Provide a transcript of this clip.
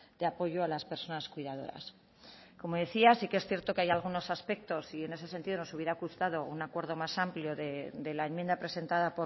de apoyo a las personas cuidadoras como decía sí que es cierto que hay algunos aspectos y en ese sentido nos hubiera gustado un acuerdo más amplio de la enmienda presentada